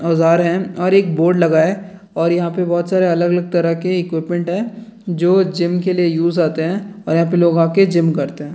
औजार है और एक बोर्ड लगा है और यहाँ पर बहुत सारा अलग-अलग तरह के इक्विपमेंट हैं जो जिम के लिए यूज होते हैं और यहाँ पर लोग आकर जिम करते हैं।